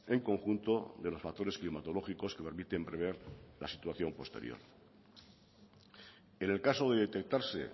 en conjunto de los factores climatológicos que permiten prever la situación posterior en el caso de detectarse